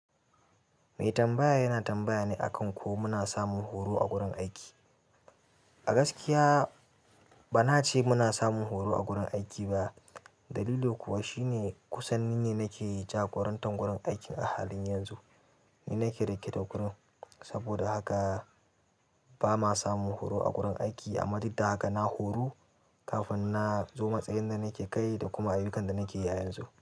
Mai tambaya yana tambaya ne akan ko muna samun horo a gurin aiki. A gaskiya bana ce muna samun horo a gurin aiki ba, dalili kuwa shine kusan ni ne nake jagorantar wurin aikin a halin yanzu. Ni nake riƙe da gurin, saboda haka bama samun horo a gurin aiki, amma duk da haka na horu kafin na zo matsayin da nake kai da kuma ayyukan da nake yi a yanzu.